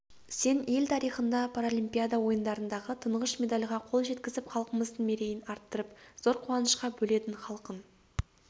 сен ел тарихында паралимпиада ойындарындағы тұңғыш медальға қол жеткізіп халқымыздың мерейін арттырып зор қуанышқа бөледің халқың